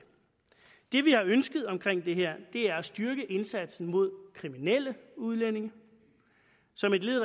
det vi har ønsket omkring det her er at styrke indsatsen mod kriminelle udlændinge som et led